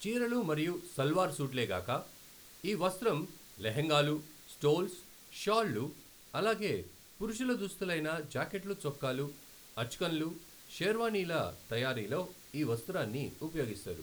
చీరలు మరియు సల్వార్ సూట్లే గాక, ఈ వస్త్రం లెహెంగాలు, స్టోల్స్, షాల్ళు, అలాగే పురుషుల దుస్తులైన జాకెట్లుచొక్కాలు, అచ్కన్లు, షెర్వానీల తయారీలో ఈ వస్త్రాన్ని ఉపయోగిస్తారు.